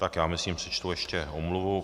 Tak já myslím, že přečtu ještě omluvu.